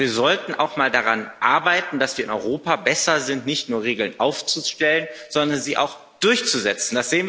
Aber wir sollten auch mal daran arbeiten, dass wir in Europa besser werden, nicht nur Regeln aufzustellen, sondern sie auch durchzusetzen.